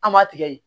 An m'a tigɛ